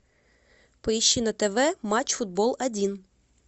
поищи на тв матч футбол один